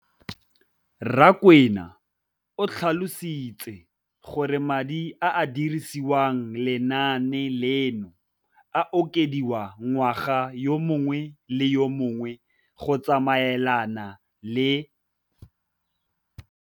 Rakwena o tlhalositse gore madi a a dirisediwang lenaane leno a okediwa ngwaga yo mongwe le yo mongwe go tsamaelana le.